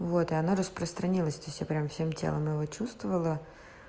вот оно распространилось то есть я все прямо всем телом его чувствовала